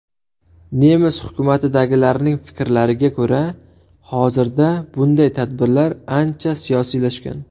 Nemis hukumatidagilarning fikrlariga ko‘ra, hozirda bunday tadbirlar ancha siyosiylashgan.